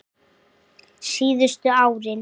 Síðustu árin